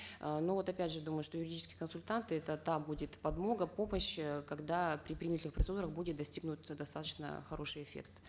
э но вот опять же думаю что юридические консультанты это та будет подмога помощь э когда при принятых процедурах будет достигнут достаточно хороший эффект